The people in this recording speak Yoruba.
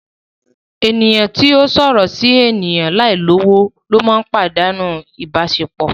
Eniyan ti o sọrọ si eniyan lai lowo ninu padanu ibasepo